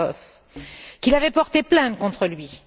Orlov, qu'il avait porté plainte contre lui.